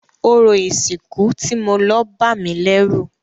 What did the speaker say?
Orò ìsìnkú tí mo lọ bámìlẹ́rù.